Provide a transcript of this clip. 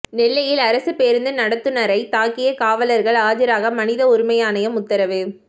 நெல்லையில் அரசு பேருந்து நடத்துநரை தாக்கிய காவலர்கள் ஆஜராக மனித உரிமை ஆணையம் உத்தரவு